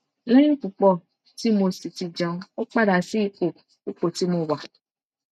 lẹyìn pupo tí mo sì ti jẹun mo padà sí ipò ipò tí mo wà